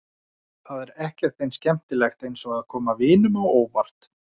Það er ekkert eins skemmtilegt eins og að koma vinunum á óvart.